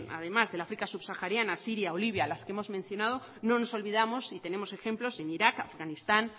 además del áfrica subsahariana siria o libia las que hemos mencionado no nos olvidamos y tenemos ejemplos en irak afganistán